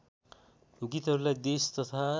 गीतहरूलाई देश तथा